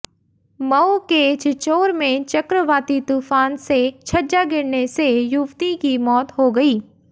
मऊ के छिछोर में चक्रवाती तूफान से छज्जा गिरने से युवती की मौत हो गई